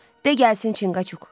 De gəlsin Çinqaçuk.